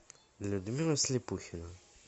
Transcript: людмила слепухина